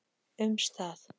um stað.